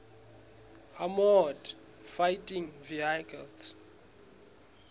armoured fighting vehicles